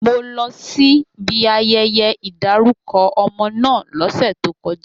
Mo lọ síbi ayẹyẹ ìdárúkọ ọmọ náà lọ́sẹ̀ tó kọjá